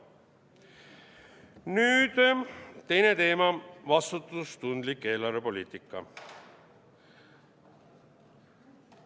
Nüüd, teine teema, vastutustundlik eelarvepoliitika.